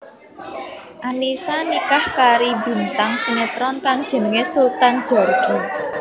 Annisa nikah kari bintang sinetron kang jenengé Sultan Djorghi